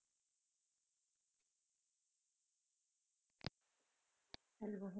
Hello.